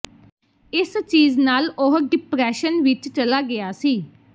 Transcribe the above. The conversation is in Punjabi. ਇਸ ਚੀਜ ਨਾਲ ਉਹ ਡਿਪ੍ਰੇਸ਼ਨ ਵਿੱਚ ਚਲਾ ਗਿਆ ਸੀ